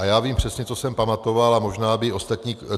A já vím přesně, co jsem pamatoval, a možná by ostatní...